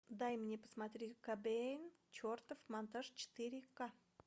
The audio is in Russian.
дай мне посмотреть кобейн чертов монтаж четыре ка